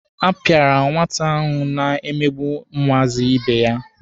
A pịara nwata ahụ na-emegbu ụmụazị ibe ya.